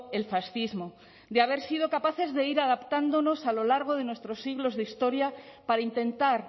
el fascismo de haber sido capaces de ir adaptándonos a lo largo de nuestros siglos de historia para intentar